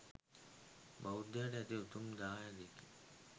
බෞද්ධයාට ඇති උතුම් දායාදයකි